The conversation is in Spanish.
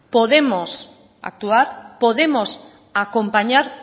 podemos actuar podemos acompañar